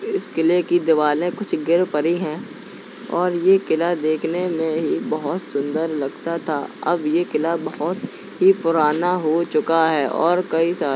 इस किले की दीवाले कुछ गिल परी है और ये किला देखने में ही बोहोत सुंदर लगता था। अब ये किला बोहोत ही पुराना हो चुका है और कई सा --